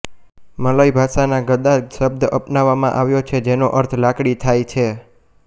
મલય ભાષામાં ગદા શબ્દ અપનાવવામાં આવ્યો છે જેનો અર્થ લાકડી થાય છે